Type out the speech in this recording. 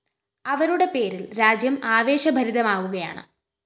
അവരുടെ പേരില്‍ രാജ്യം ആവശേഭരിതമാവുകയാണ്